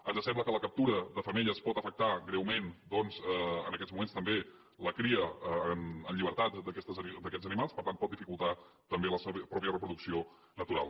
ens sembla que la captura de femelles pot afectar greument doncs en aquests moments també la cria en llibertat d’aquests animals per tant pot dificultar també la seva mateixa reproducció natural